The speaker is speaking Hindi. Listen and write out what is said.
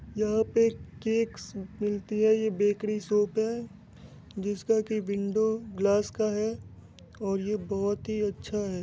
यहा पे केकस मिलती है ये बेकरी शॉप है जिसका की विंडो ग्लास का है और ये बहुत ही अच्छा है ।